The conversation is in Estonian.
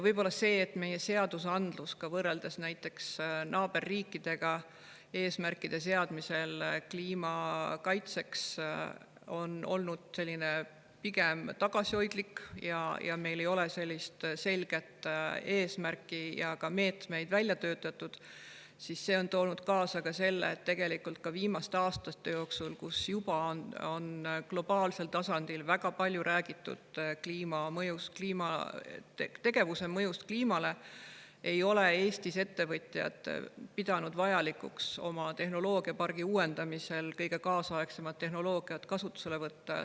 Võib-olla see, et meie seadused võrreldes näiteks naaberriikide seadustega on kliima kaitseks eesmärkide seadmisel olnud pigem tagasihoidlikud ja meil ei ole sellist selget eesmärki ega meetmeid välja töötatud, on toonud kaasa selle, et viimaste aastate jooksul, kui juba on globaalsel tasandil väga palju räägitud tegevuse mõjust kliimale, ei ole Eesti ettevõtjad pidanud vajalikuks oma tehnoloogiapargi uuendamisel kõige kaasaegsemat tehnoloogiat kasutusele võtta.